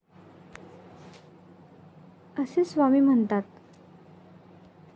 असे स्वामी म्हणतात.